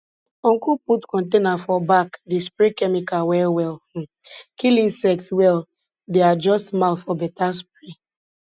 uncle put container for back dey spray chemical well well um kill insect well dey adjust mouth for better spray